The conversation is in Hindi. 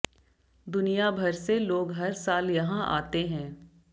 दुनिया भर से लोग हर साल यहां आते हैं